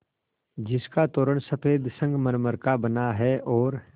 जिसका तोरण सफ़ेद संगमरमर का बना है और